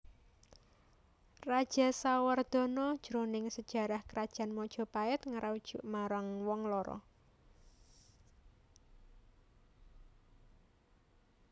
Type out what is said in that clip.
Rajasawardhana jroning sajarah Krajan Majapait ngarujuk marang wong loro